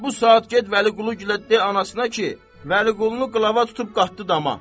Elə bu saat get Vəliquluya de anasına ki, Vəliqulunu qılava tutub qatdı dama.